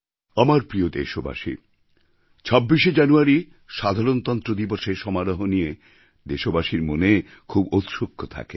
আমার প্রিয় দেশবাসী ২৬শে জানুয়ারি সাধারণতন্ত্র দিবসের সমারোহ নিয়ে দেশবাসীর মনে খুব ঔৎসুক্য থাকে